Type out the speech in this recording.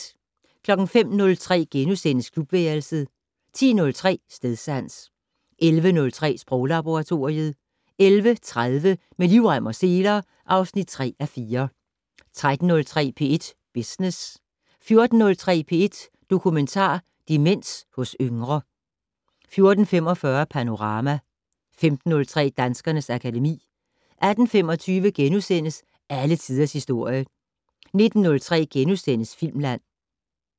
05:03: Klubværelset * 10:03: Stedsans 11:03: Sproglaboratoriet 11:30: Med livrem og seler (3:4) 13:03: P1 Business 14:03: P1 Dokumentar: Demens hos yngre 14:45: Panorama 15:03: Danskernes akademi 18:25: Alle tiders historie * 19:03: Filmland *